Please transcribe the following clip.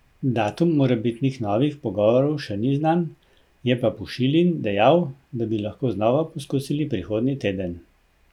Datum morebitnih novih pogovorov še ni znan, je pa Pušilin dejal, da bi lahko znova poskusili prihodnji teden.